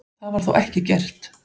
Það var þó ekki gert.